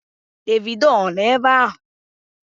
Davido ọ nọ ebe ahụ?